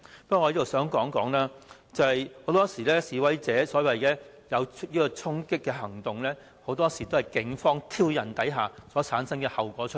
不過，我想指出，很多時示威者作出所謂"衝擊"行動，很多時是警方挑釁所產生的後果。